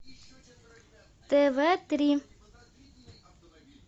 тв три